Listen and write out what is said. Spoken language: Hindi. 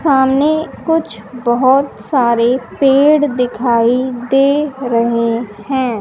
सामने कुछ बहोत सारे पेड़ दिखाई दे रहे हैं।